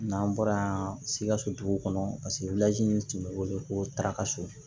N'an bɔra yan sikasotigiw kɔnɔ paseke tun be wele ko tarakaso